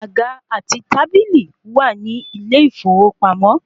Àga àti tábílì wà ní ilé ìfowópamọ́